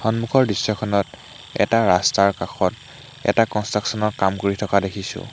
সন্মুখৰ দৃশ্যখনত এটা ৰাস্তাৰ কাষত এটা কনষ্ট্ৰাকশ্বন ৰ কাম কৰি থকা দেখিছোঁ।